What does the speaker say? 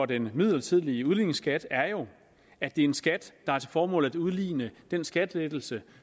den midlertidige udligningsskat er jo at det er en skat der har til formål at udligne den skattelettelse